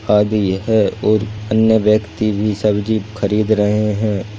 आदि है और अन्य व्यक्ति भी सब्जी खरीद रहे हैं।